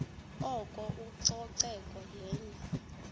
oko ucoceko yenye